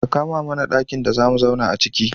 Ka kama mana ɗakin da zamu zauna aciki.